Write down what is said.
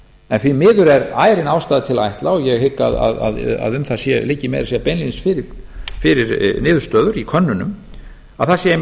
en því miður er ærin ástæða til að ætla og ég hygg að um það liggi meira að segja fyrir niðurstöður í könnunum að það séu